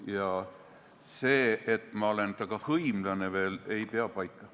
Ka see, et ma olen tema hõimlane, ei pea paika.